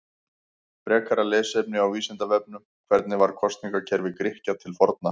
Frekara lesefni á Vísindavefnum: Hvernig var kosningakerfi Grikkja til forna?